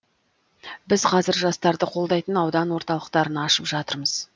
біз қазір жастарды қолдайтын аудан орталықтарын ашып жатырмыз